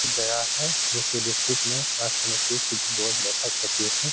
गया है जो कि डिस्ट्रिक्ट में समिति की बहोत बैठक होती है।